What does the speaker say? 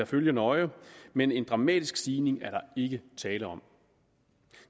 følge nøje men en dramatisk stigning er der ikke tale om